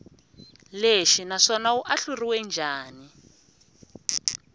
lexi naswona wu ahluriwe njhani